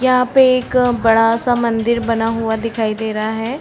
यहाँ पे एक बड़ा सा मंदिर बना हुआ दिखाई दे रहा है।